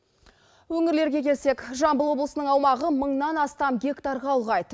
өңірлерге келсек жамбыл облысының аумағы мыңнан астам гектарға ұлғайды